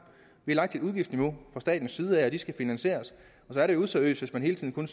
vi har lagt et udgiftsniveau fra statens side af og det skal finansieres og så er det useriøst når man hele tiden